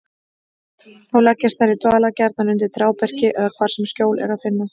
Þá leggjast þær í dvala, gjarnan undir trjáberki eða hvar sem skjól er að finna.